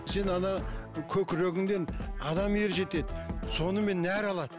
сен ана көкірегіңнен адам ер жетеді сонымен нәр алады